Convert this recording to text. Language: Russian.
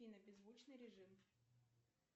и на беззвучный режим